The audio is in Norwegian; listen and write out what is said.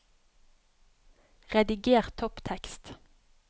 Rediger topptekst